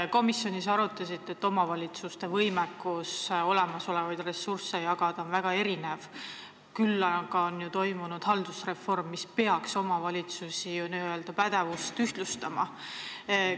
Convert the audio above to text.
Te komisjonis arutasite, et omavalitsuste võimekus olemasolevaid ressursse jagada on väga erinev, küll aga on ju toimunud haldusreform, mis peaks omavalitsuste n-ö pädevust ühtlustama.